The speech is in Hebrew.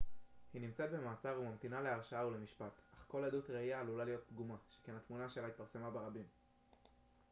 היא נמצאת במעצר וממתינה להרשעה ולמשפט אך כל עדות ראייה עלולה להיות פגומה שכן התמונה שלה התפרסמה ברבים